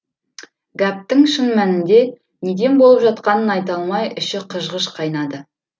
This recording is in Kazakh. гәптің шын мәнінде неден болып жатқанын айта алмай іші қыж қыж қайнады